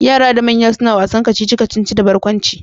Yara da manya suna wasan kacici-kacici da barkwanci.